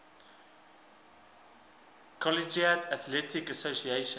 collegiate athletic association